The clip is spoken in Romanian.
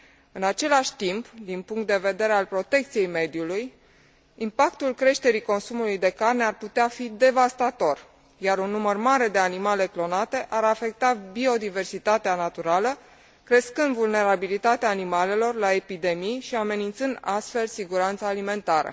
În același timp, din punct de vedere al protecției mediului, impactul creșterii consumului de carne ar putea fi devastator, iar un număr mare de animale clonate ar afecta biodiversitatea naturală, crescând vulnerabilitatea animalelor la epidemii și amenințând astfel siguranța alimentară.